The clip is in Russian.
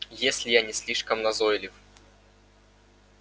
если я не слишком назойлив